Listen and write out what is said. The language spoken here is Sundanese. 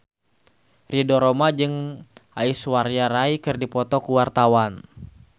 Ridho Roma jeung Aishwarya Rai keur dipoto ku wartawan